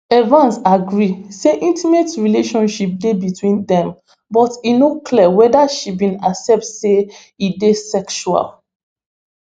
evans agree say intimate relationship dey between dem but e no clear weda she bin accept say e dey sexual